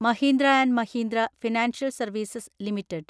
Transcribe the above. Mahindra and Mahindra Financial Services limited